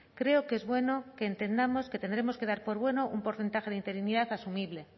creo que es bueno que entendamos que tendremos que dar por bueno un porcentaje de interinidad asumible